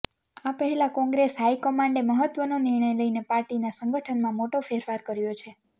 આ પહેલા કોંગ્રેસ હાઈકમાન્ડે મહત્વનો નિર્ણય લઈને પાર્ટીના સંગઠનમાં મોટો ફેરફાર કર્યો છે